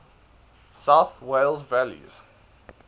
south wales valleys